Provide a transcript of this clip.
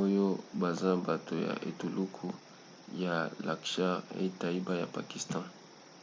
oyo baza bato ya etuluku ya laskhar-e-taiba ya pakistan